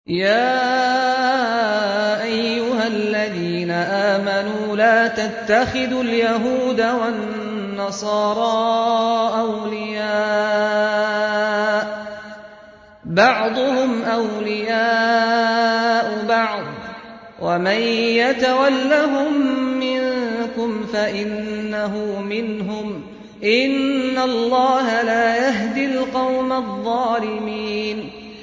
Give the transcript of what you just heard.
۞ يَا أَيُّهَا الَّذِينَ آمَنُوا لَا تَتَّخِذُوا الْيَهُودَ وَالنَّصَارَىٰ أَوْلِيَاءَ ۘ بَعْضُهُمْ أَوْلِيَاءُ بَعْضٍ ۚ وَمَن يَتَوَلَّهُم مِّنكُمْ فَإِنَّهُ مِنْهُمْ ۗ إِنَّ اللَّهَ لَا يَهْدِي الْقَوْمَ الظَّالِمِينَ